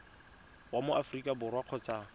wa mo aforika borwa kgotsa